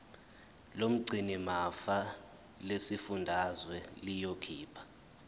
lomgcinimafa lesifundazwe liyokhipha